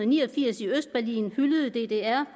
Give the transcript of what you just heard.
ni og firs i østberlin hyldede ddr